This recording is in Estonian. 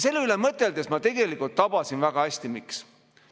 Selle üle mõteldes ma tabasin väga hästi, miks.